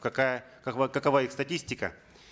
какая какова какова их статистика